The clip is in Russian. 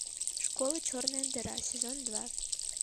школа черная дыра сезон два